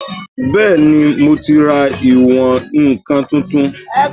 Bẹ́ẹ̀ni, mo ti ra ìwọ̀n-ǹkan tuntun